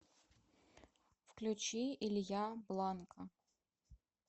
включи илья бланко